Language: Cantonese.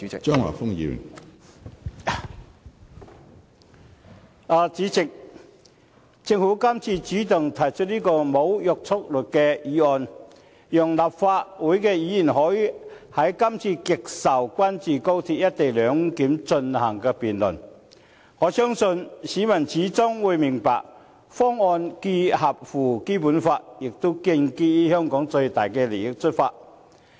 主席，政府今次主動提出這項無約束力的議案，讓立法會議員可以就今次極受關注的高鐵"一地兩檢"進行辯論，我相信市民最終會明白，方案既符合《基本法》，也建基於從香港的最大利益。